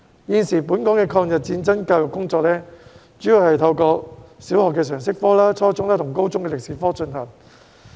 現時，本港的抗日戰爭教育工作主要是透過小學的常識科，以及初中和高中的歷史科進行。